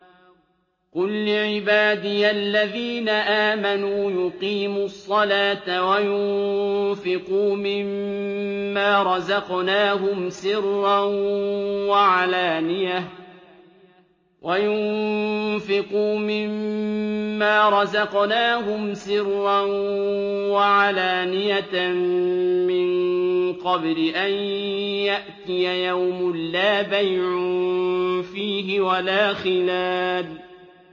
قُل لِّعِبَادِيَ الَّذِينَ آمَنُوا يُقِيمُوا الصَّلَاةَ وَيُنفِقُوا مِمَّا رَزَقْنَاهُمْ سِرًّا وَعَلَانِيَةً مِّن قَبْلِ أَن يَأْتِيَ يَوْمٌ لَّا بَيْعٌ فِيهِ وَلَا خِلَالٌ